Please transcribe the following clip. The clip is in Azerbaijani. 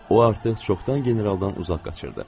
O artıq çoxdan generaldan uzaq qaçırdı.